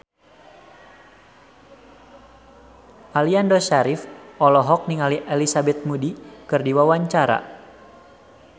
Aliando Syarif olohok ningali Elizabeth Moody keur diwawancara